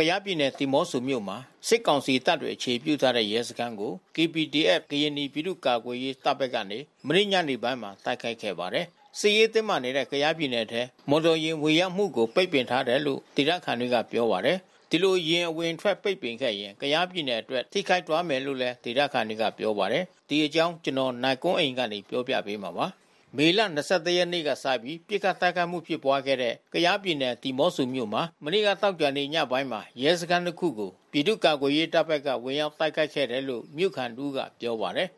ကယားပြည်နယ် ဒီးမော့ဆိုမြို့မှာ စစ်ကောင်စီတပ်တွေ အခြေပြုထားတဲ့ ရဲစခန်းကို KPDF ကရင်နီပြည်သူ့ကာကွယ်ရေး တပ်ဘက်ကနေ မနေ့ညပိုင်းမှာ တိုက်ခိုက်ခဲ့ပါတယ်။ စစ်ရေးတင်းမာနေတဲ့ ကယားပြည်နယ်ထဲ မော်တော်ယာဉ် ဝင်ရောက်မှု ပိတ်ပင်ထားတယ်လို့ ဒေသခံတွေက ပြောကြပါတယ်။ ဒီလို ယာဉ်အဝင်ပိတ်ပင်ခဲ့ရင် ကယားပြည်နယ်အတွက် ထိခိုက်သွားမယ်လို့ ဒေသခံတွေက ပြောပါတယ်။ အပြည့်အစုံကို နိုင်ကွန်းအိန် တင်ပြပေးထားပါတယ်။ မေလ ၂၁ ရက်နေ့ကစပြီး ပစ်ခတ်တိုက်ခိုက်မှုတွေ ဖြစ်ပွားခဲ့တဲ့ ကယားပြည်နယ် ဒီးမော့ဆိုမြို့မှာ မနေ့ကသောကြာနေ့ ညပိုင်းမှာ ရဲစခန်းတခုကို ပြည်သူ့ကာကွယ်ရေးတပ်ဘက်က ဝင်ရောက်တိုက်ခိုက်ခဲ့တယ်လို့ မြို့ခံတဦးက ပြောပါတယ်။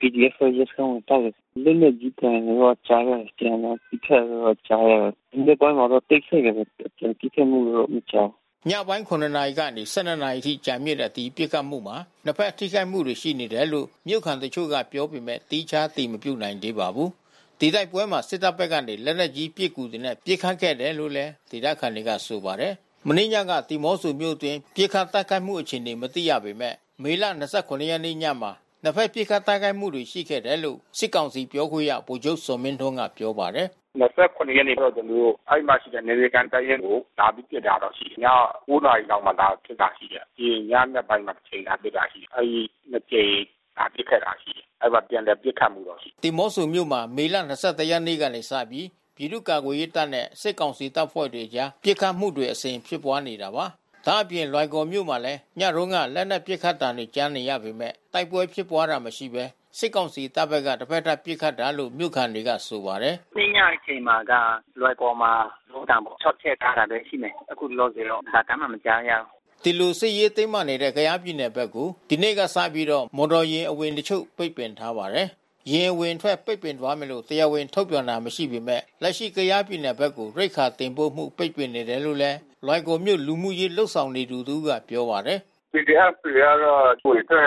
“PDF အဖွဲ့က ရဲစခန်းကို ဝင်တိုက်တယ်။ လက်နက်ကြီးသံတွေတော့ ကြားရတယ်။ အပြန်အလှန် ပစ်ခတ်တာတွေတော့ ကြားရတယ်။ ဒီနေ့ပိုင်းမှာတော့ တိတ်ဆိတ်နေတာပဲ။ ပစ်ခတ်မှုတော့ မကြားဘူး။” ညပိုင်း ၇ နာရီကနေ ၁၂ နာရီအထိကြာမြင့်တဲ့ ဒီပစ်ခတ်မှုမှာ နှစ်ဖက်တပ်ဖွဲ့တွေ ထိခိုက်မှုတွေရှိတယ်လို့ မြို့ခံတချို့က ပြောပေမယ့် သီးခြား အတည်မပြုနိုင်သေးပါဘူး။ ဒီတိုက်ပွဲမှာ စစ်တပ်ဘက်ကနေ လက်နက်ကြီးပစ်ကူတွေနဲ့ ပစ်ခတ်ခဲ့တယ်လို့လည်း ဒေသခံတွေက ဆိုပါတယ်။ မနေ့ညက ဒီးမော့ဆိုမြို့တွင်း ပစ်ခတ်တိုက်ခိုက်မှု အခြေအနေ မသိရပေမယ့် မေလ ၂၇ ရက်နေ့ညမှာ နှစ်ဖက် ပစ်ခတ်တိုက်ခိုက်မှု ရှိခဲ့တယ်လို့ စစ်ကောင်စီပြောခွင့်ရ ဗိုလ်ချုပ်ဇော်မင်းထွန်းက ပြောပါတယ်။ “၂၇ ရက်နေ့တုန်းက ကျနော်တို့ အဲဒီမှာရှိတဲ့ နယ်မြေခံတပ်ရင်းကို လာပြီးပစ်တဲ့ဟာတော့ ရှိတယ်။ ည ၉ နာရီလောက်မှာ လာပစ်တာရှိတယ်။ နောက် ညနက်ပိုင်းမှာတကြိမ် လာပစ်တယ်။ အဲဒီ နှစ်ကြိမ်လာပစ်ခဲ့တာ ရှိတယ်။ အဲဒီမှာ ပြန်လည်ပစ်ခတ်မှုတော့ ရှိတယ်။” ဒီးမော့ဆိုမြို့မှာ မေလ ၂၁ ရက်နေ့ကစပြီး ပြည်သူ့ကာကွယ်ရေးတပ်နဲ့ စစ်ကောင်စီတပ်ဖွဲ့ဝင်တွေအကြား ပစ်ခတ်မှုတွေ အစဉ်ဖြစ်ပွားနေတာပါ။ ဒါ့အပြင် လွိုင်ကော်မြို့မှာလည်း ညတုန်းက လက်နက်ပစ်ခတ်သံတွေ ကြားနေရပေမယ့် တိုက်ပွဲဖြစ်ပွားတာမရှိဘဲ စစ်ကောင်စီတပ်ဘက်က တဖက်သတ်ပစ်ခတ်တာလို့ မြို့ခံတွေက ဆိုပါတယ်။ “မနေ့ညအချိန်မှာက လွိုင်ကော်မှာ ဗုံးသံတွေ ၆ ချက်ကြားတာတော့ ရှိတယ်။ အခုလောလောဆယ်တော့ ဘာသံမှ မကြားရဘူး။” ဒီလို စစ်ရေးတင်းမာနေတဲ့ ကယားပြည်နယ်ဘက်ကို ဒီနေ့ကစပြီး မော်တော်ယာဉ်အဝင်တချို့ ပိတ်ပင်ထားပါတယ်။ ယာဉ်အဝင်ပိတ်ပင်သွားမယ်လို့ တရားဝင်ထုတ်ပြန်တာ မရှိပေမယ့် လက်ရှိ ကယားပြည်နယ်ဘက်ကို ရိက္ခာတင်ပို့မှု ပိတ်ပင်နေတယ်လို့ လွိုင်ကော်မြို့ လူမှုရေး လုပ်ဆောင်နေသူတဦးက ပြောပါတယ်။ “PDF တွေကတော့ အဝင်အထွက် သတ်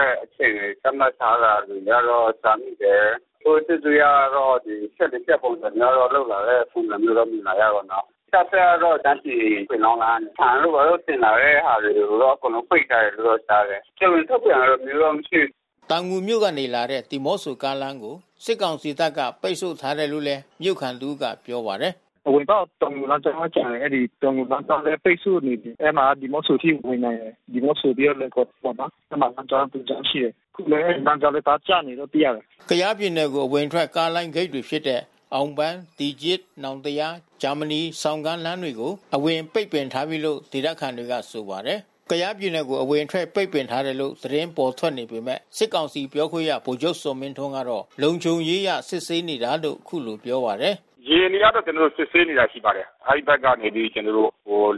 မှတ်ထားတာတွေတော့ ကြားမိတယ်။ အခု စစ်အစိုးရကတော့ ဖြတ် ၄ ဖြတ်ပုံစံမျိုးနဲ့ လုပ်လာတဲ့ပုံစံ မြင်လာရတာပေါ့နော်။ တပ်ဘက်ကတော့ ရှမ်းပြည် ပင်လောင်းလမ်းကနေ ဆန်တို့ဘာတို့ တင်လာတဲ့ဟာတွေတော့ အကုန်လုံး ပိတ်ထားတယ်လို့တော့ ကြားတယ်။ တရားဝင်ထုတ်ပြန်တာမျိုးတော့ မရှိဘူး။” တောင်ငူမြို့ကနေလာတဲ့ ဒီးမော့ဆိုကားလမ်းကို စစ်ကောင်စီတပ်က ပိတ်ဆို့ထားတယ်လို့ မြို့ခံတဦးက ပြောပါတယ်။ “အဝင်ပေါက် တောင်ငူလမ်းကြောင်းပဲ ကျန်တယ်။ အဲဒီ တောင်ငူလမ်းကြောင်းလည်း ပိတ်ဆို့နေပြီ။ အဲဒီမှာ ဒီးမော့ဆိုအထိ ဝင်နိုင်တယ်။ ဒီးမော့ဆိုပြီးတော့ လွိုင်ကော်ပေါ့နော်။ အဲဒီမှာ လမ်းကြောင်းတကြောင်း ရှိတယ်။ အခုလည်း လမ်းကြောင်းတကြောင်း ကျပ်နေတယ်လို့ သိရတယ်။” ကယားပြည်နယ်ကို အဝင်အထွက် ကားလိုင်းဂိတ်တွေဖြစ်တဲ့ အောင်ပန်း၊ တီကျစ်၊ နောင်တရား၊ ဂျာမနီ၊ ဆောင်ကန်းလမ်းတွေကို အဝင်ပိတ်ပင်ထားလိုက်ပြီလို့ ဒေသခံတွေက ဆိုပါတယ်။ ကယားပြည်နယ်ကို အဝင်အထွက် ပိတ်ပင်ထားတယ်လို့ သတင်းထွက်ပေါ်နေပေမယ့် စစ်ကောင်စီပြောခွင့်ရ ဗိုလ်ချုပ် ဇော်မင်းထွန်းကတော့ လုံခြုံရေးအရ စစ်ဆေးနေတာလို့ အခုလိုပြောပါတယ်။ “ယာဉ်တွေကတော့ ကျနော်တို့ စစ်ဆေးနေတာ ရှိပါတယ်။ အဲဒီဘက်ကနေ ကျနော်တို့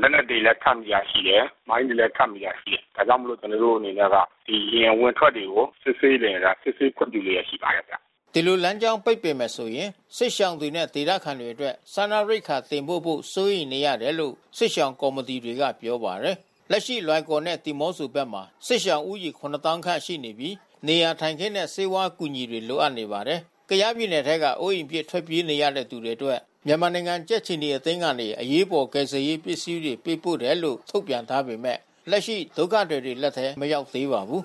လက်နက်တွေလည်း ဖမ်းမိတာရှိတယ်။ မိုင်းတွေလည်း ဖမ်းမိတာရှိတယ်။ ဒါကြောင့်မို့လို့ ကျနော်တို့အနေနဲ့က ယာဉ်အဝင်အထွက်တွေကို စစ်ဆေးနေတာ စစ်ဆေးခွင့်ပြုလျက် ရှိပါတယ်ဗျ။” ဒီလို လမ်းကြောင်းပိတ်ဆို့မယ်ဆိုရင် စစ်ရှောင်တွေနဲ့ ဒေသခံတွေအတွက် စားနပ်ရိက္ခာတင်ပို့ဖို့ စိုးရိမ်ရတယ်လို့ စစ်ရှောင်ကော်မတီတွေက ပြောပါတယ်။ လက်ရှိ လွိုင်ကော်နဲ့ ဒီးမော့ဆိုတွေဘက်မှာ စစ်ရှောင်ဦးရေ ၇၀,၀၀၀ ခန့်ရှိနေပြီး နေရာထိုင်ခင်းနဲ့ ဆေးဝါးအကူအညီ လိုအပ်နေပါတယ်။ ကယားပြည်နယ်ထဲက အိုးအိမ်ပစ် ထွက်ပြေးနေကြရသူတွေအတွက် မြန်မာနိုင်ငံ ကြက်ခြေနီအသင်းကနေ အရေးပေါ်ကယ်ဆယ်ရေး ပစ္စည်းတွေ ပေးပို့တယ်လို့ ထုတ်ပြန်ထားပေမယ့် လက်ရှိ ဒုက္ခသည်တွေလက်ထဲ မရောက်သေးပါဘူး